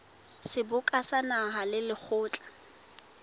seboka sa naha le lekgotla